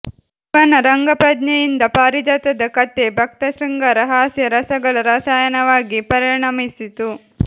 ಇವನ ರಂಗಪ್ರಜ್ಞೆಯಿಂದ ಪಾರಿಜಾತದ ಕಥೆ ಭಕ್ತ ಶೃಂಗಾರ ಹಾಸ್ಯ ರಸಗಳ ರಸಾಯನವಾಗಿ ಪರಿಣಮಿಸಿತು